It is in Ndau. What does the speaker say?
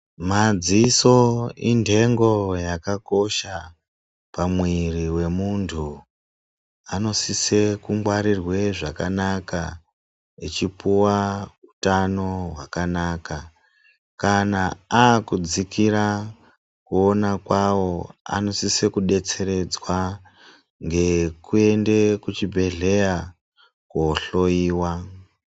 Madziso intengo yakakosha pamwiri wemuntu. Anosise kungwarirwe zvakanaka echipuwa utano hwakanaka. Kana akudzikira kuona kwavo anosise kudetseredzwa ngekuende kuchibhedhleya koohloiwa.